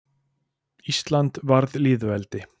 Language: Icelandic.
Ísland varð lýðveldi.